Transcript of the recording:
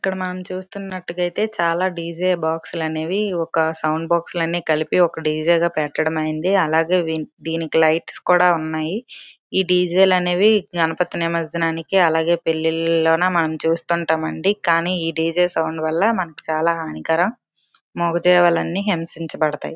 ఇక్కడ మనం చూస్తున్నట్టయితే చాలా డీజే బాక్సులు అనేది ఒక సౌండ్ బాక్స్ లో అన్నీ కలిపి ఒక డీజే లాగా పెట్టడం అయింది అలాగే దీనికి లైట్స్ కూడా ఉన్నాయి ఈ డీజే లు అనేవి గణపతి నిమర్జనానికి అలాగే పెళ్లిళ్లలోన మనం చూస్తూ ఉంటామండి కానీ ఈ డీజే సౌండ్ వల్ల మనకి చాలా హానికరం మూగజీవాలన్నీ హింసించబడతాయి.